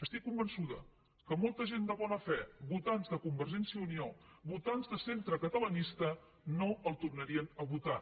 estic convençuda que molta gent de bona fe votants de convergència i unió votants de centre catalanista no el tornarien a votar